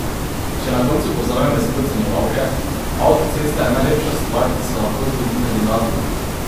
Če na koncu povzamem besede ocenjevalke: "Avtocesta je najlepša stvar, ki se lahko zgodi kandidatu.